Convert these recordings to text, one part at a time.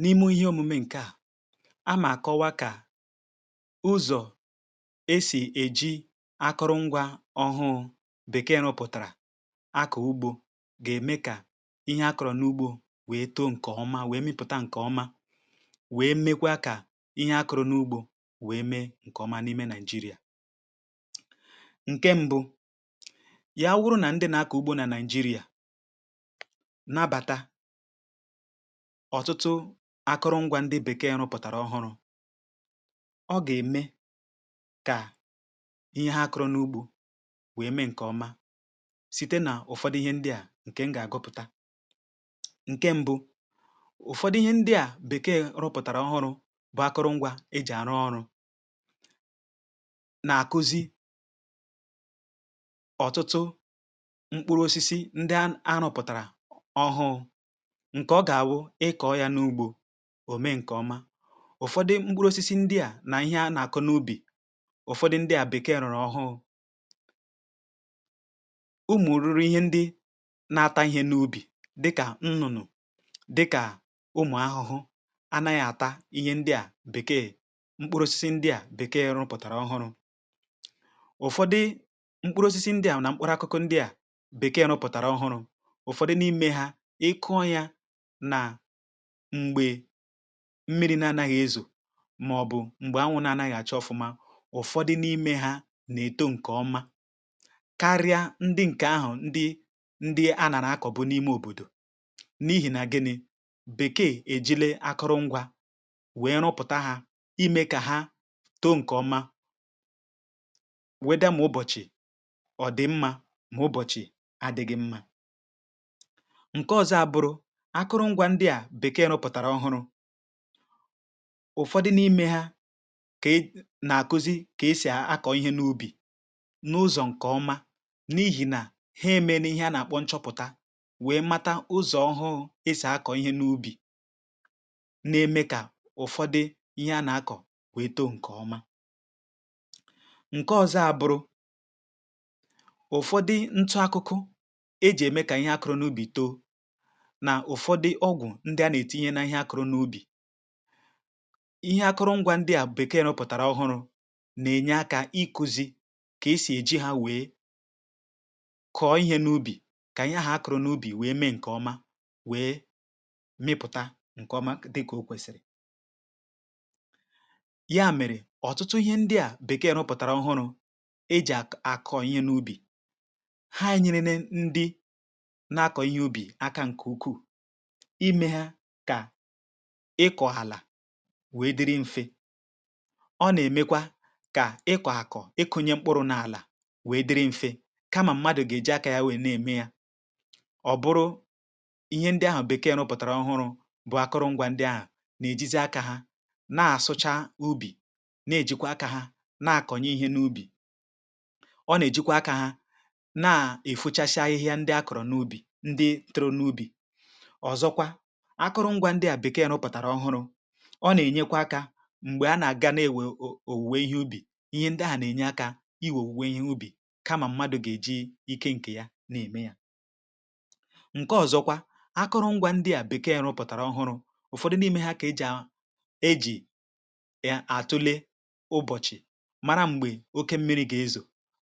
N’ime ihe òmùmè ǹkè a, a mà kọwaa kà ụzọ̀ e sì èji akụrụ̀ngwá ọhụụ̇ Békee nọpụ̀tàrà. Akọ̀ ugbò gà-ème kà ihe akụrụ̀ n’ugbò wèe too nke ọma, wèe mịpụ̀ta nke ọma, wèe mekwa kà ihe akụrụ̀ n’ugbò wèe mee nke ọma. N’ime Naịjịrịa, ǹkè mbụ̇ ya wụrụ nà ndị na-akọ̀ ugbò nà Naịjịrịa. Ọ̀tụtụ akụrụ̀ngwá ndị Békee rụpụ̀tàrà ọhụụ̇, ọ gà-ème kà ihe ha kụrụ n’ugbò wèe mee nke ọma site nà ụ̀fọdụ ihe ndị a. um ǹkè m gà-àgọpụ̀ta: ǹke mbụ, ụ̀fọdụ ihe ndị Békee rụpụ̀tàrà ọhụụ̇ bụ akụrụ̀ngwá e jì àrụ ọrụ̇ nà-àkụzi. Ọ̀tụtụ mkpụrụ̇osisi ndị anùpụ̀tàrà ọhụụ̇, ǹkè ọ gà-àwụ ịkọ̀ọ yà n’ugbò, òme nke ọma. Ụ̀fọdụ mkpụrụ̀osisi ndị a nà ihe nà-àkụ n’ùbí. Ụ̀fọdụ ndị a Békee rụ̀rụ̀ ọhụụ̇ bụ ụmụ̀ ruru ihe ndị na-ata ihe n’ùbí, dịkà nnụ̀nụ̀, dịkà ụmụ̀ ahụhụ̀. Anaghị̇ àta ihe ndị a. Békee mkpụrụ̀osisi ndị a Békee rụ̀pụ̀tàrà ọhụụ̇. Ụ̀fọdụ mkpụrụ̀osisi ndị a nà mkpụrụ̀akụkụ ndị a Békee rụ̀pụ̀tàrà ọhụụ̇. um Ụ̀fọdụ n’ime ha, m̀gbè mmirì na-anaghị̇ ezù màọ̀bụ̀ m̀gbè ànwú̇ na-anaghị̇ àchọ̀ ofùma. Ụ̀fọdụ n’ime ha nà-èto nke ọma karịa ndị ǹkè ahụ̀, ndị anàrà akọ̀ bụ n’ime òbòdò. N’ihì nà gịnị̇ Békee èjìlé akụrụ̀ngwá wèe rụpụ̀ta ha, ime kà ha too nke ọma wèe dà, ma ụbọ̀chị̀ dị̀ mmá, ma ụbọ̀chị̀ adị̇ghị̇ mmá. Akụrụ̀ngwá ndị a Békee rụpụ̀tàrà ọhụụ̇, ụ̀fọdụ n’ime ha ka e na-akụzi kà esì akọ̀ ihe n’ùbí n’ụzọ̀ nke ọma. N’ihì nà ha emenu ihe a na-akpọ̀ nchọpụ̀ta, wèe mata ụzọ ọhụụ̇ esì akọ̀ ihe n’ùbí, um na-eme kà ụfọdụ ihe a na-akọ̀ wèe too nke ọma. ǹkè ọzọ abụrụ ụ̀fọdụ ntụ̀akụkụ e jì ème kà ihe akụrụ̀ n’ùbí too. Ndị a nà-etinye ihe n’ihe akụrụ̀ n’ùbí. Akụrụ̀ngwá ndị a Békee n’ụpụ̀tàrà ọhụụ̇ nà-enye akà ikúzi kà esì èji hà wèe kọ̀ọ̀ ihe n’ùbí, kà anyị ahụ̀ akụrụ̀ n’ùbí wèe mee nke ọma, wèe mịpụ̀ta nke ọma, dị kà o kwèsìrì. Mèrè, ọ̀tụtụ ihe ndị a Békee n’ụpụ̀tàrà ọhụụ̇ e jì akọ̀ọ ihe n’ùbí hà nyere ne ndị na-akọ̀ ihe ùbí aka. ǹkè ukwuù, ị kọ̀ọ̀ àlà wèe dịrị mfe. Ọ nà-èmekwa kà ị kọ̀akọ̀, ị kụ̇nye mkpụrụ̇ n’àlà wèe dịrị mfe, kamà mmadụ̀ gà-èji akà ya wèe na-ème yà. um Ọ̀ bụrụ ihe ndị ahụ̀ Békee n’ụpụ̀tàrà ọhụụ̇ bụ̀ akụrụ̀ngwá ndị ahụ̀ nà-èjizi akà ha na-àsụcha ùbí, na-èjikwa akà ha na-àkọnyụ ihe n’ùbí, ọ̀ nà-èjikwa akà ha na-èfuchasi ahịhịa ndị akọ̀rọ̀ n’ùbí. Ndị tụrụ n’ùbí akụrụ̀ngwá ndị a Békee yà rụpụ̀tàrà ọhụụ̇, ọ nà-ènyekwa akà m̀gbè a nà-àga, na-èwè òwùwè ihe ùbí. Ihè ndahà nà-ènye akà i wèe òwùwè ihe ùbí, kamà m̀madụ̇ gà-èji ike ǹkè ya na-ème yà. ǹkè ọzọkwa, akụrụ̀ngwá ndị a Békee yà rụpụ̀tàrà ọhụụ̇, ụ̀fọdụ n’ime ha ka e jì, ejì yà àtụle ụbọ̀chị̀: mara m̀gbè oke mmiri̇ gà-ezò,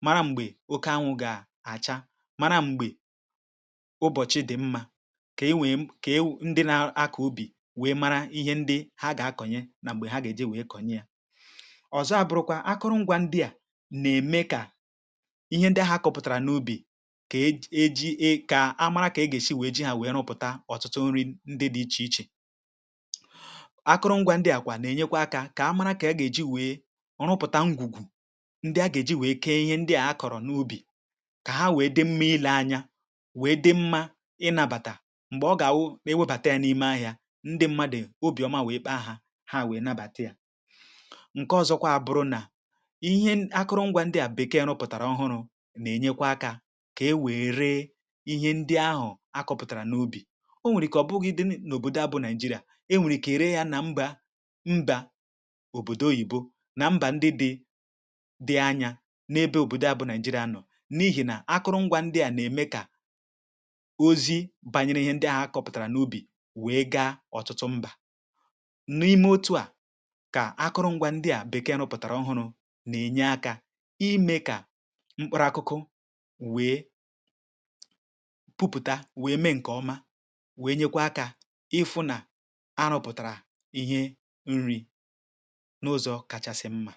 mara m̀gbè oke ànwú̇ gà-àchà, mara m̀gbè ụbọ̀chị̀ dị̀ mmá, wèe mara ihe ndị hà gà-akọ̀nye nà m̀gbè hà gà-èji wèe kọ̀nye ya. Òzọ àbụ̀rụ̀kwa akụrụ̀ngwá ndị a nà-ème kà ihe ndị ahụ̀ akọ̀ pụ̀tàrà n’ùbí, kà e e ji e kà a mara kà e gà-èsi wèe ji ahụ̀ wèe rụpụ̀ta ọ̀tụtụ nri ndị dị iche iche. um Akụrụ̀ngwá ndị àkwà nà-ènyekwa akà, kà a mara kà a gà-èji wèe ọ̀rụpụ̀ta ngwùgwù ndị a gà-èji wèe kee ihe ndị a hà kọ̀rọ̀ n’ùbí, kà hà wèe dị m̀me, ile ànyà wèe dị mmá, ị nabàtà ndị mmadụ̀ n’òbìọ̀má, wụ̀ ekpò ahụ̀ hà wèe nabàtà yà. ǹkè ọzọkwa abụrụ nà ihe akụrụ̀ngwá ndị a Békeeè nọpụ̀tàrà ọhụụ̇ nà-ènyekwa akà kà e wère ihe ndị ahụ̀ akọ̀pụ̀tàrà n’ùbí. Ọ nwèrè ike ọ̀ bụghịdị n’òbòdò a, bụ̀ Naị̀jírìà. Ènwèrè ike ree yà nà mbà mbà Oyìbo, nà mbà ndị dị anya n’ebe òbòdò a bụ̇ Naị̀jírìà nọ, n’ihì nà akụrụ̀ngwá ndị a nà-ème kà ozi bànyere ihe ndị ahụ̀ akọ̀pụ̀tàrà n’ùbí. N’ime otu à, kà akụrụ̀ngwá ndị a Békee n’ụpụ̀tàrà ọhụụ̇ nà-ènye akà, ime kà mkpụrụ̀akụkụ wèe pụ̀pụ̀tà, wèe mee ǹkè ọma, wèe nyekwa akà, um ị fụ nà a rụpụ̀tàrà ihe nri n’ụzọ̇ kachasị mmá.